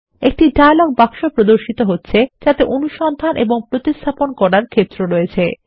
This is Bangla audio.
একটি ডায়লগ বাক্সপ্রদর্শিত হচ্ছে যাতে অনুসন্ধান এবং প্রতিস্থাপন করার ক্ষেত্র আছে